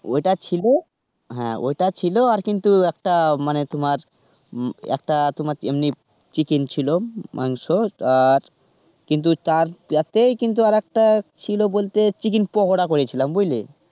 ওটা ছিল, হ্যাঁ. ওটা ছিল আর কিন্তু একটা মানে তোমার একটা তোমার এমনি chicken ছিল, মাংস আর কিন্তু তার সাথে আরেকটা ছিল বলতে chicken পকোড়া করেছিলাম, বুঝলে?